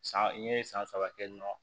San n ye san saba kɛ nɔ